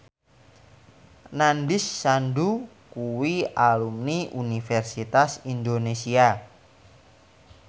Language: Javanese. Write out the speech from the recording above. Nandish Sandhu kuwi alumni Universitas Indonesia